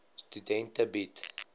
studente bied